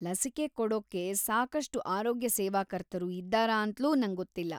ಲಸಿಕೆ ಕೊಡೋಕ್ಕೆ ಸಾಕಷ್ಟು ಆರೋಗ್ಯ ಸೇವಾಕರ್ತರು ಇದ್ದಾರಾ ಅಂತ್ಲೂ ನಂಗೊತ್ತಿಲ್ಲ.